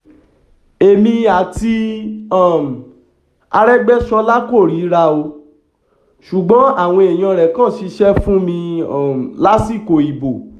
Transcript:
èmi àti um arégbèsọlá kò ríra o ṣùgbọ́n àwọn èèyàn rẹ kan ṣiṣẹ́ fún mi um lásìkò ìbò